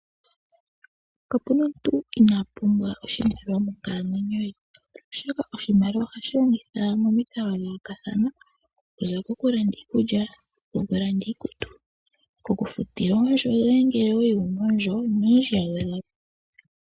Kapuna omuntu inaapumbwa oshimaliwa monkalamwenyo ye , oshoka oshimaliwa ohashi longithwa momikalo dha yoolokathana okuza kokulanda iikulya, iikutu nokufuta oondjo ngele owa li wuna oondjo noyindji ya gwedhwa po.